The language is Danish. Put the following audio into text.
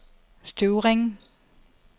Støvring